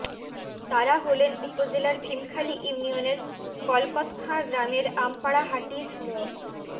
তারা হলেন উপজেলার ভীমখালি ইউনিয়নের কলকতখাঁ গ্রামের আমপাড়া হাটির মো